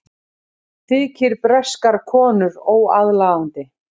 Þykir breskar konur óaðlaðandi